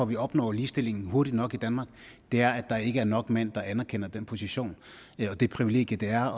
vi opnår ligestillingen hurtigt nok i danmark er at der ikke er nok mænd der anerkender den position og det privilegie det er